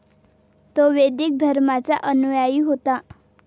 तो वैदिक धर्माचा अनुयायी होता.